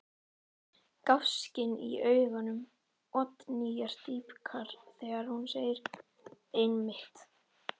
Gáskinn í augum Oddnýjar dýpkar þegar hún segir: Einmitt.